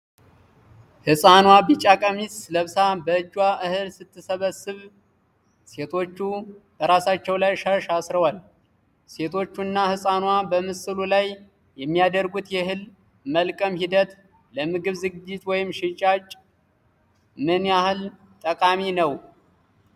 ህፃኗ ቢጫ ቀሚስ ለብሳ በእጇ እህል ስትሰበስብ፣ ሴቶቹ በራሳቸው ላይ ሻሽ አስረዋል። ሴቶቹ እና ህፃኗ በምስሉ ላይ የሚያደርጉት የእህል መልቀም ሂደት ለምግብ ዝግጅት ወይም ለሽያጭ ምን ያህል ጠቃሚ ነው?